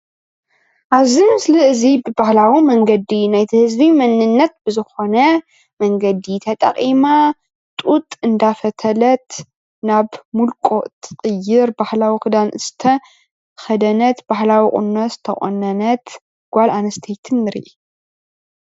ኣብዚ ምስሊ አዚ ብባህላዊ መንገዲ ናይቲ ህዝቢ መንነት ዝኾነ መንገዲ ተጠቒማ ጡጥ አንዳፈተለት ናብ ምልቆ አትቕይር ባህላዊ ክዳን ዝተኸደነት ባህላዊ ቑኖ ዝተቖነነት ጓል ኣንስተይቲ ንረኢ።